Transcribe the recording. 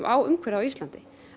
á umhverfið á Íslandi